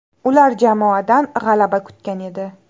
Ular jamoadan g‘alaba kutgan edi.